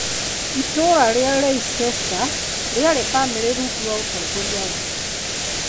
Itũũra rĩa Leicester rĩarĩ famĩrĩ rungu rwa ũtongoria wake.